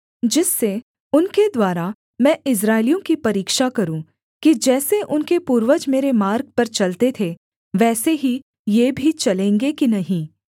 जिससे उनके द्वारा मैं इस्राएलियों की परीक्षा करूँ कि जैसे उनके पूर्वज मेरे मार्ग पर चलते थे वैसे ही ये भी चलेंगे कि नहीं